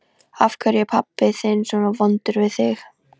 Af hverju er pabbi þinn svona vondur við þig?